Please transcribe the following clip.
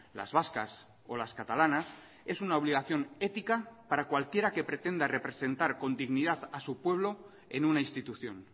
las vascas o las catalanas es una obligación ética para cualquiera que pretenda representar con dignidad a su pueblo en una institución